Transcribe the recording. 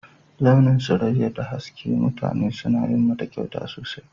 Launin Suraƴa da haske, mutane suna yin mata ƙyauta sosai.